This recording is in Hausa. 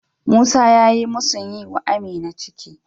Musa ya musun yi wa Amina ciki.